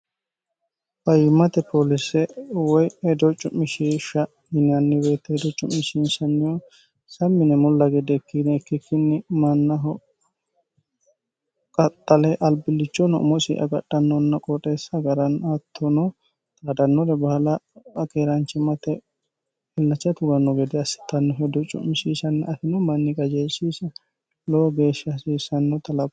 bayimate poolise woy hedo cu'mishieshsha minaanni weeteeedo cu'mishisnnihu samine mulla gedde ikkinne ikki kinni mannaho qaxxale albillichono umosi agadhannonna qoxeessa hagaran attono taadannore bahala akeeraanchi mate hillacha tuganno gede assitanno hedo cu'mishishanni afino manni qajeershisa lowo geeshsha hasiissannota lo